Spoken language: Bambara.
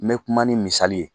Me kuma ni misali ye.